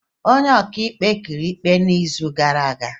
Onye ọkaikpe o kwuru ikpe n'izu gara aga?